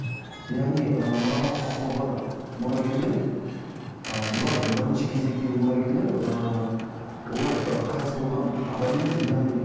яғни ы мұраға құқығы бар мұрагерлер ы бұлар бірінші кезектегі мұрагерлер ыыы олар ы қайтыс болған адамның яғни